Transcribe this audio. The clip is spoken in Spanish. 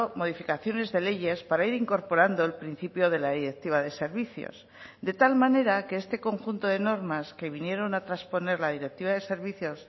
modificaciones de leyes para ir incorporando el principio de la directiva de servicios de tal manera que este conjunto de normas que vinieron a trasponer la directiva de servicios